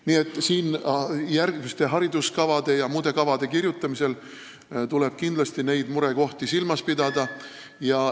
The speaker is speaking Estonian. Nii et järgmiste hariduskavade ja muude kavade kirjutamisel tuleb kindlasti neid murekohti silmas pidada.